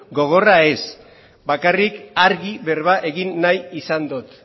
gogorra ez bakarrik argi berba egin nahi izan dut